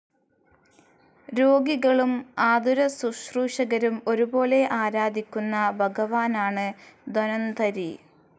രോഗികളും ആതുരസുശ്രൂഷകരും ഒരുപോലെ ആരാധിക്കുന്ന ഭഗവാനാണ് ധന്വന്തരി.